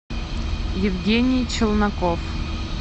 евгений челноков